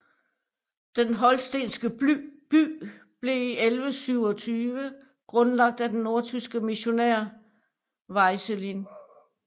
Den holstenske by blev i 1127 grundlagt af den nordtyske missionær Vicelin